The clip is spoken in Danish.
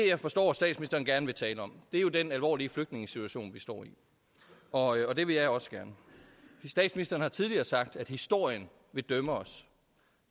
jeg forstår at statsministeren gerne vil tale om er den alvorlige flygtningesituation vi står i og det vil jeg også gerne statsministeren har tidligere sagt at historien vil dømme os